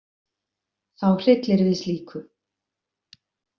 Þá hryllir við slíku.